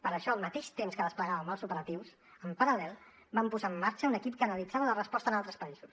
per això al mateix temps que desplegàvem els operatius en paral·lel vam posar en marxa un equip que analitzava la resposta en altres països